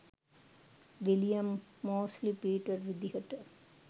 William Mosley Peter විදිහට